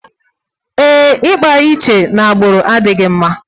Ee, ịkpa iche n'agbụrụ adịghị mma